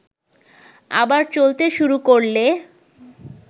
আবার চলতে শুরু করলে